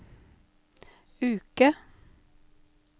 uke